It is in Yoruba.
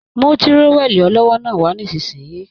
Mú tírówẹli ọlọ́wọ́ náà wà nisinyi!